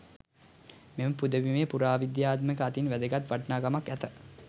මෙම පුදබිමේ පුරාවිද්‍යාත්මක අතින් වැදගත් වටිනාකමක් ඇති